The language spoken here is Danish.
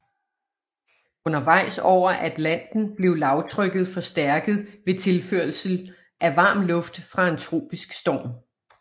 Undervejs over Atlanten blev lavtrykket forstærket ved tilførsel af varm luft fra en tropisk storm